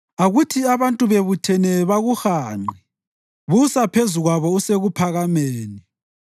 Akuthi abantu bebuthene bakuhanqe busa phezu kwabo usekuphakameni.